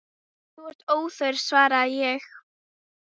Þú ert óþörf, svaraði ég.